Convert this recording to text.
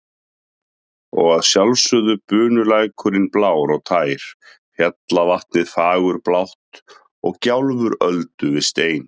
Og að sjálfsögðu bunulækurinn blár og tær, fjallavatnið fagurblátt og gjálfur öldu við stein.